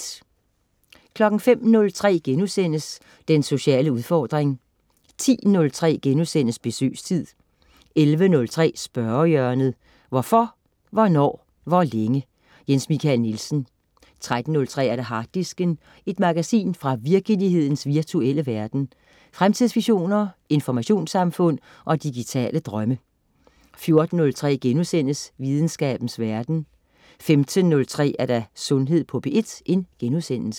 05.03 Den sociale udfordring* 10.03 Besøgstid* 11.03 Spørgehjørnet. Hvorfor, hvornår, hvor længe? Jens Michael Nielsen 13.03 Harddisken. Et magasin fra virkelighedens virtuelle verden. Fremtidsvisioner, informationssamfund og digitale drømme 14.03 Videnskabens verden* 15.03 Sundhed på P1*